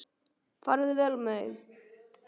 Farðu vel með þau.